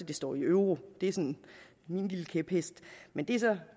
det står i euro det er sådan min lille kæphest men det